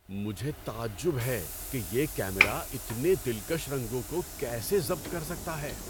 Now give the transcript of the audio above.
مجھے تعجب ہے کہ یہ کیمرا اتنے دلکش رنگوں کو کیسے ضبط کر سکتا ہے!